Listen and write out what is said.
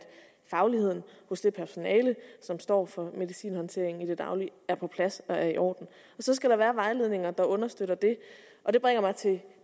fagligheden hos det personale som står for medicinhåndtering i det daglige er på plads og er i orden og så skal der være vejledninger der understøtter det og det bringer mig til